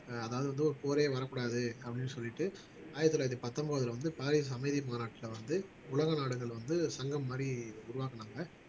ஆஹ் அதாவது வந்து ஒரு போரே வரக் கூடாது அப்படின்னு சொல்லிட்டு ஆயிரத்தி தொள்ளாயிரத்தி பத்தொன்பதுல வந்து பாரிஸ் அமைதி மாநாட்டுல வந்து உலக நாடுகள் வந்து சங்கம் மாதிரி உருவாக்குனாங்க